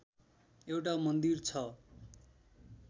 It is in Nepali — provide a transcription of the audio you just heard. एउटा मन्दिर छ